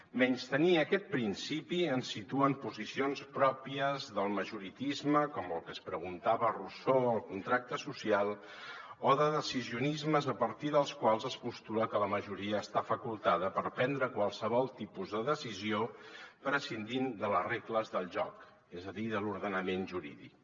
menystenir aquest princi pi ens situa en posicions pròpies del majoritarisme com el que es preguntava rousseau a el contracte social o de decisionismes a partir dels quals es postula que la majoria està facultada per prendre qualsevol tipus de decisió prescindint de les regles del joc és a dir de l’ordenament jurídic